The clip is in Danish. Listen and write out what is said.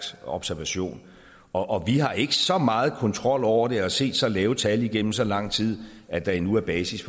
observation og vi har ikke så meget kontrol over det og set så lave tal igennem så lang tid at der endnu er basis